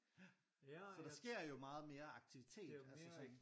Så der sker jo meget mere aktivitet altså sådan